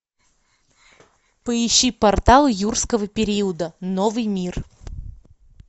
помощи портал юрского периода новый мир